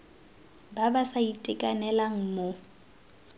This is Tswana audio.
ba ba sa itekanelang mo